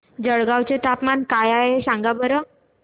जळगाव चे तापमान काय आहे सांगा बरं